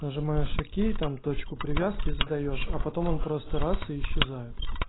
нажимаешь окей там точку привязки задаёшь а потом он просто раз и исчезает